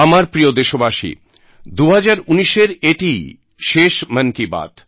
আমার প্রিয় দেশবাসী ২০১৯ এর এটিই শেষ মন কি বাত